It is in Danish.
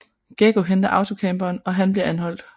Geggo henter autocamperen og han bliver anholdt